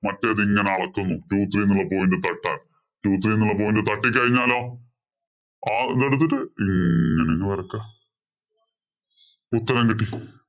മറ്റേതു ഇങ്ങനെ അളക്കുന്നു. two three എന്ന point ഇല്‍ തട്ടാതെ. Two three point ഇല്‍ തട്ടിക്കഴിഞ്ഞാലോ ആ ഇതെടുത്തിട്ടു ഇങ്ങനങ്ങ് വരയ്ക്കുക. ഉത്തരം കിട്ടി.